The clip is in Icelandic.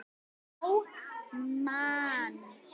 á mann.